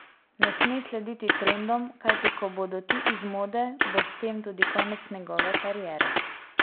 Ne sme slediti trendom, kajti ko bodo ti iz mode, bo s tem tudi konec njegove kariere.